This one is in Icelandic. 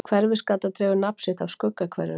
hverfisgata dregur nafn sitt af skuggahverfinu